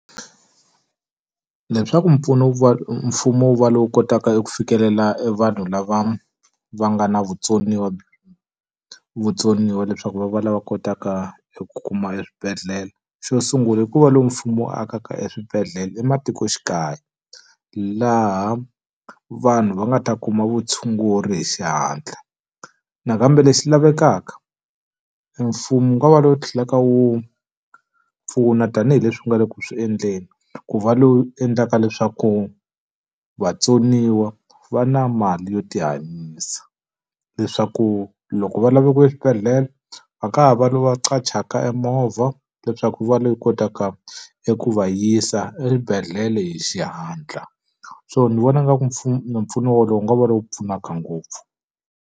Leswaku wu va mfumo wu va lowu kotaka eku fikelela e vanhu lava va nga na vutsoniwa vutsoniwa leswaku va va lava va kotaka ku kuma eswibedhlele. Xo sungula i ku va loko mfumo wo akaka eswibedhlele ematikoxikaya, laha vanhu va nga ta kuma vutshunguri hi xihatla. Nakambe lexi lavekaka emfumo wu va lowu wu tlhelaka wu pfuna tanihileswi nga le ku swi endleni, ku va lowu endlaka leswaku vatsoniwa va na mali yo tihanyisa. Leswaku loko va lava ku ya eswibedhlele a ka no va qachaka e movha leswaku va lowu wu kotaka eku va yisa eswibedhlele hi xihatla. So ni vona nga ku mpfuno wolowo wu nga va lowu pfunaka ngopfu.